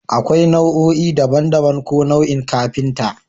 Akwai nau'o'i daban-daban ko nau'in kafinta